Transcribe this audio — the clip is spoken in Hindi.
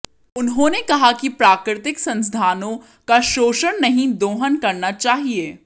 उन्होंने कहा कि प्राकृतिक संसाधनों का शोषण नहीं दोहन करना चाहिए